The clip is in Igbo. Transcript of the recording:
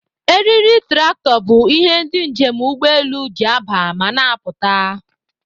Eriri trakto bu ihe ndi njem ụgbọ elụ ji aba ma n'apụta